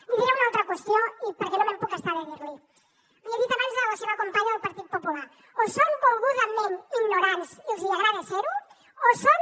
li diré una altra qüestió perquè no me’n puc estar de dir li li he dit abans a la seva companya del partit popular o són volgudament ignorants i els agrada ser ho o són